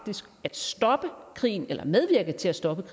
syrien